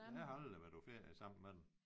Jeg har aldrig været på ferie sammen med dem